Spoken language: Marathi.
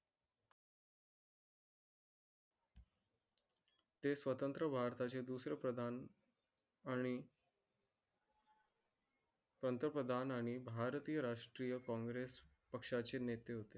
ते स्वतंत्र भारताचे दुसरे प्रधान. आणि पंतप्रधान आणि भारतीय राष्ट्रीय कॉंग्रेस पक्षाचे नेते होते.